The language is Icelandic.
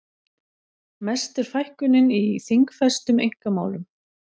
Mest er fækkunin í þingfestum einkamálum